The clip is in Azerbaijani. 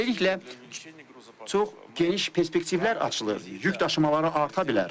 Və beləliklə, çox geniş perspektivlər açılır, yükdaşımaları arta bilər.